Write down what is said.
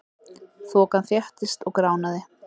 Þokan þéttist og gránaði.